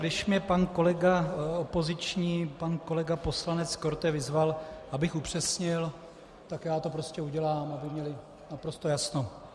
Když mě pan kolega opoziční, pan kolega poslanec Korte, vyzval, abych upřesnil, tak já to prostě udělám, aby měli naprosto jasno.